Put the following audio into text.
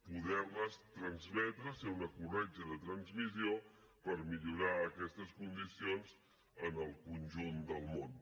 poder les transmetre ser una corretja de transmissió per millorar aquestes condicions en el conjunt del món